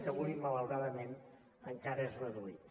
que avui malauradament encara és reduït